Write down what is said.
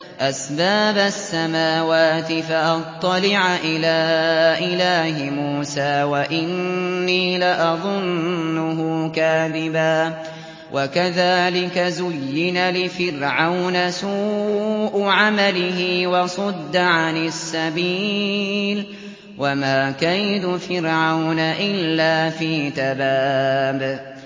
أَسْبَابَ السَّمَاوَاتِ فَأَطَّلِعَ إِلَىٰ إِلَٰهِ مُوسَىٰ وَإِنِّي لَأَظُنُّهُ كَاذِبًا ۚ وَكَذَٰلِكَ زُيِّنَ لِفِرْعَوْنَ سُوءُ عَمَلِهِ وَصُدَّ عَنِ السَّبِيلِ ۚ وَمَا كَيْدُ فِرْعَوْنَ إِلَّا فِي تَبَابٍ